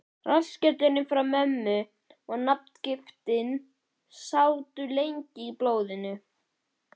Rassskellurinn frá mömmu og nafngiftin sátu lengi í blóðinu.